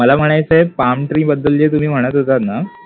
मला म्हणायचंय palm tree बद्दल जे तुम्ही म्हणत होतात ना